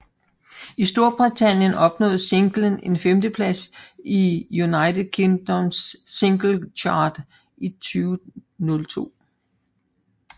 I Storbritannien opnåede singlen en femteplads på UK Singles Chart i 2002